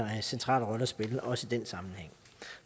central rolle at spille også i den sammenhæng